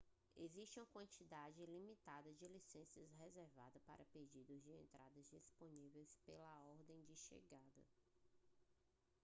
existe uma quantidade limitada de licenças reservadas para pedidos de entrada disponíveis pela ordem de chegada